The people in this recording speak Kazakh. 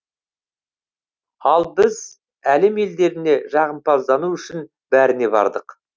ал біз әлем елдеріне жағымпаздану үшін бәріне бардық